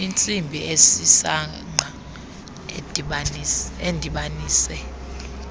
intsimbi esisangqa edibanise